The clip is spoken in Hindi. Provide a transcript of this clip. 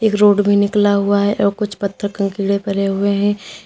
एक रोड भी निकला हुआ है और कुछ पत्थर कंकीड़े पड़े हुए हैं।